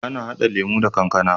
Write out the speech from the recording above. Ana hada lemo da kankAna